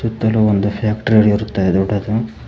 ಸುತ್ತಲು ಒಂದು ಫ್ಯಾಕ್ಟರಿ ಗಾಳಿರುತ್ತವೆ ದೊಡ್ಡದು.